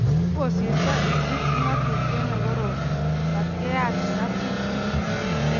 Kokosirto Egypt ng"atutiet ne korom mat keyatita tibik.